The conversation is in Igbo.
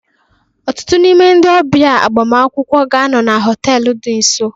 Ọtụtụ n'ime ndị ọbịa agbamakwụkwọ ga-anọ na họtel dị nso